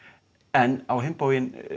en á hinn bóginn